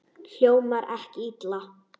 Hljómar ekki illa.